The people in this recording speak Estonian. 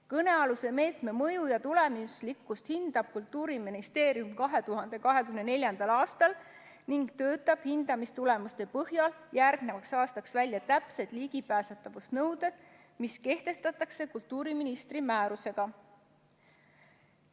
Kõnealuse meetme mõju ja tulemuslikkust hindab Kultuuriministeerium 2024. aastal ning töötab hindamistulemuste põhjal järgnevaks aastaks välja täpsed ligipääsetavuse nõuded, mis kehtestatakse kultuuriministri määrusega.